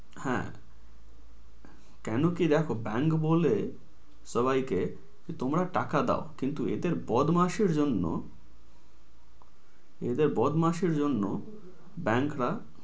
হ্যাঁ। কেন কি দেখ bank বলে সবাইকে তোমরা টাকা দেও কিন্তু এদের বদমাসের জন্য এদের বদমাশের জন্য bank রা